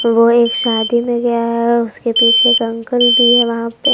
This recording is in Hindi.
वो एक शादी में गया है उसके पीछे का अंकल भी हैं वहां पे--